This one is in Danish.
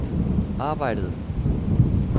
arbejdede